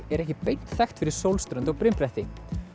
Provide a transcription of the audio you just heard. er ekki beint þekkt fyrir sólströnd og brimbretti